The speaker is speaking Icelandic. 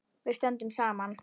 Við stöndum saman!